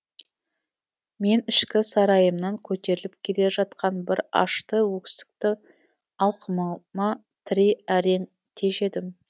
мен ішкі сарайымнан көтеріліп келе жатқан бір ашты өксікті алқымыма тірей әрең тежедім